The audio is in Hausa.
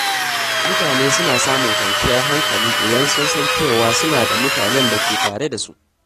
Mutane suna samun kwanciyar hankali idan sun san cewa suna da mutanen da ke tare da su.